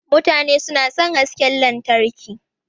Mutane na son hasken lantarki.